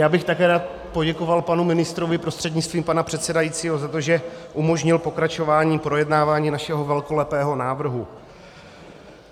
Já bych také rád poděkoval panu ministrovi prostřednictvím pana předsedajícího za to, že umožnil pokračování projednávání našeho velkolepého návrhu.